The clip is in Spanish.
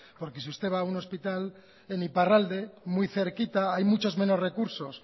porque si usted va a un hospital en iparralde muy cerquita hay muchos menos recursos